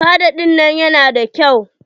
Fada ɗinnan ya na da kyau.